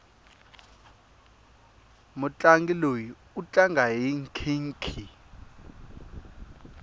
mutlangi loyi u tlanga hi nkhinkhi